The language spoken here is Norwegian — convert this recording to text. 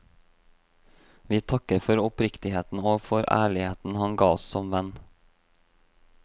Vi takker for oppriktigheten, og for ærligheten han ga oss som venn.